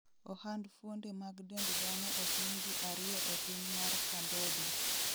ohand fuonde mag dend dhano ohiny ji ariyo e piny mar Cambodia